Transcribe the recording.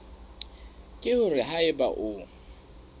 ke hore ha eba o